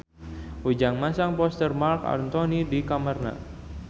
Ujang masang poster Marc Anthony di kamarna